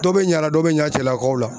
Dɔ be ɲa la dɔ be ɲa cɛlakaw la